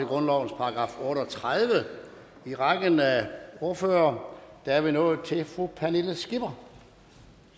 grundlovens § otte og tredive i rækken af ordførere er vi nået til fru pernille skipper